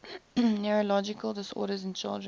neurological disorders in children